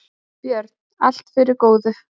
Björn: Allt fyrir góðu.